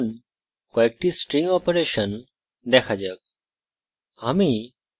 এখন কয়েকটি string operation দেখা যাক